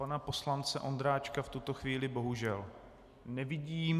Pana poslance Ondráčka v tuto chvíli bohužel nevidím.